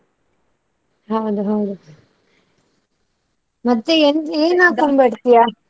ಹೌದು ಹೌದು ಮತ್ತೆ ಏನ್ ಏನ್ ಹಾಕೊಂಡು ಬರ್ತೀಯಾ?